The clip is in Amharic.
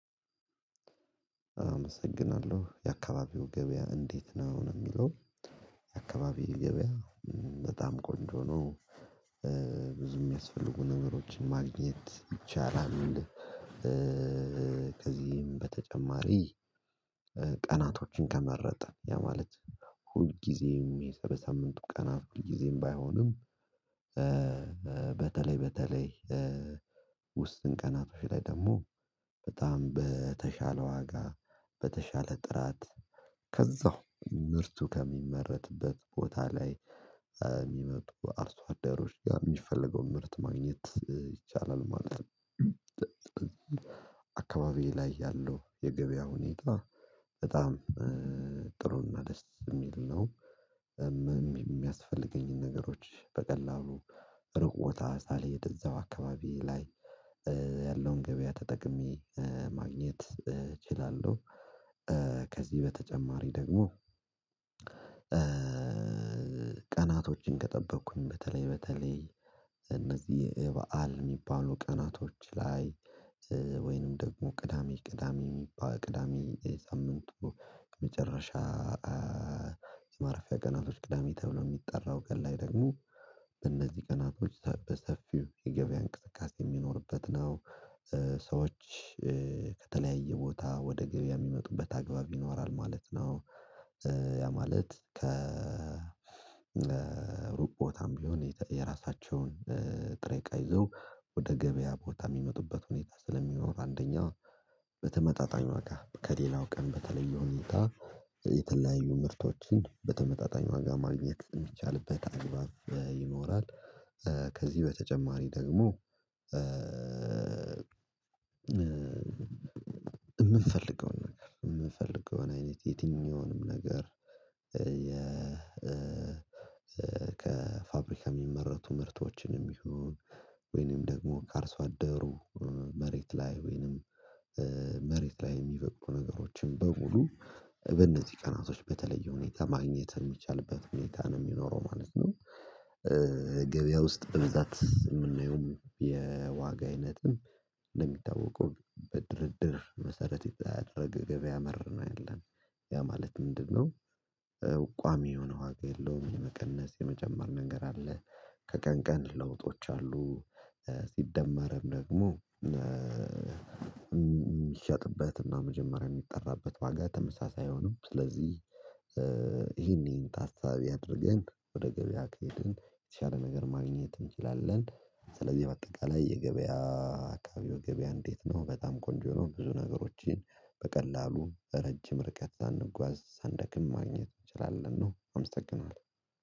አመሰግናለሁ የአካባቢው ገበያ እንዴት ነው ነው የሚለው? የአካባቢው ገበያ በጣም ቆንጆ ነው ብዙም የሚያስፈልጉ ነገሮችን ማግኘት ይቻላል። ከዚህም በተጨማሪ ቀናቶችን ከመረጠ ያ ማለት ሁልጊዜም የሳምንቱ ቀናት ሁልጊዜም ባይሆንም። በተለይ በተለይ ውስን ቀናቶች ላይ ደግሞ በጣም በተሻለ ዋጋ በተሻለ ጥራት ከዛው ምርቱ ከሚመረትበት ቦታ ላይ የሚመጡ አርሶ አዳሮች ጋር የሚፈለገውን ምርት ማግኘት ይቻላል ማለት። ነው አካባቢዬ ላይ ያለው የገበያ ሁኔታ በጣም ጥሩና ደስ የሚል ነው። የሚያስፈልገኝን ነገሮች በቀላሉ ሩቅ ቦታ ሳልሄድ እዛው አካባቢ ላይ ያለውን ገበያ ተጠቅሜ ማግኘት እችላለሁ። ከዚህ በተጨማሪ ደግሞ ቀናቶችን ከጠበቅኩኝ በተለይ በተለይ እነዚህ የበአል የሚባሉ ቀናቶች ላይ ወይንም ደግሞ ቅዳሜ ቅዳሜ ቅዳሜ የሳምንቱ መጨረሻ የማረፊያ ቀናቶች ቅዳሜ ተብሎ የሚጠራው ቀን ላይ ደግሞ በእነዚህ ቀናቶች በሰፊው የገበያ እንቅስቃሴ የሚኖርበት ነው ሰዎች ከተለያየ ቦታ ወደ ገበያ የሚመጡበት አግባብ ይኖራል ማለት ነው። ያ ማለት ከሩቅ ቦታም ቢሆን የራሳቸውን ጥሬ እቃ ይዘው ወደ ገበያ ቦታ የሚመጡበት ሁኔታ ስለሚኖር አንደኛ በተመጣጣኝ ዋጋ ከሌላው ቀን በተለየ ሁኔታ የተለያዩ ምርቶችን በተመጣጣኝ ዋጋ ማግኘት የሚቻልበት አግባብ ይኖራል። ከዚህ በተጨማሪ ደግሞ የምንፈልገውን ነገር የምንፈልገውን አይነት የትኛውንም ነገር የ ከ ከፋብሪካ የሚመረቱ ምርቶችንም ይሁን ወይንም ደግሞ ከአርሶ አደሩ መሬት ላይ ወይንም መሬት ላይ የሚበቅሉ ነገሮችን በሙሉ በእነዚህ ቀናቶች በተለየ ሁኔታ ማግኘት የሚቻልበት ሁኔታ ነው የሚኖረው ማለት ነው። ገበያ ውስጥ በብዛት የምናየው የዋጋ አይነትም እንደሚታወቀው በድርድር መሰረት ያደረገ ገበያ መር ነው ያለን ያ ማለት ምንድነው? ቋሚ የሆነ ዋጋ የለውም የመቀነስ የመጨመር ነገር አለ ከቀን ቀን ለውጦች አሉ። ሲደመርም ደግሞ የሚሸጥበትና መጀመሪያ የሚጠራበት ዋጋ ተመሳሳይ አይሆንም ስለዚህ ይሄን ይሄን ታሳቢ አድርገን ወደ ገበያ ከሄድን የተሻለ ነገር ማግኘት እንችላለን። ስለዚህ በአጠቃላይ የገበያ አካባቢው ገበያ እንዴት ነው? በጣም ቆንጆ የሆኑ ብዙ ነገሮችን በቀላሉ ረጅም ርቀት ሳንጓዝ ሳንደክም ማግኘት እንችላለን ነው። አመሰገናለሁ